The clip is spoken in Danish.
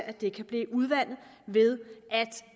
at de kan blive udvandet ved at